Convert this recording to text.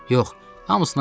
Yox, hamısından yox.